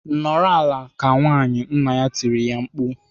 "Nọrọ ala ka nwaanyị!" Nna ya tirile ya mkpu.